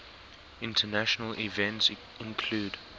international events include